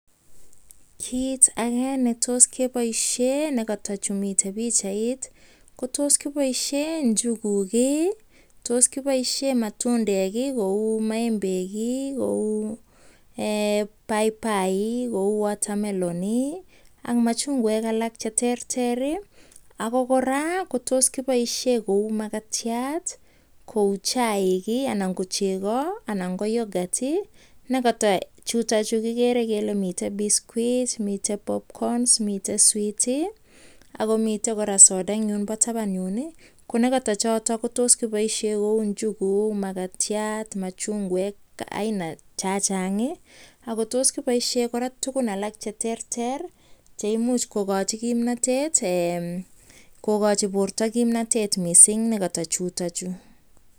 kiit agee netos keboishe negata chumiten bichait, ko toskiboishen nyuguuk iih, kotos kiboishee matundeek iih kouu maembeek iih kouu baibaai iih kouu water melon iih ak machungweek alalk cheterter iih, ago koraa kotos kiboishee kouu magatyaat kouu chaik iih anan kochego, anan ko youghurt negoto chuton chegigere kele miten biscuiit, miten bobcons, miten sweetiih ak komiten soda en yuun bo taban yuun iih, ko negotochoton kotos kiboishen kouu njuguuk magatyaat, machungweek aina chachaang iih, ago tos kiboishen koraa tugun cheterter cheimuch kogochi kimnotet eeh, kogochi borto kimnotet mising negoto chuton chu.